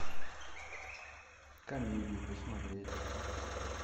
комедии посмотреть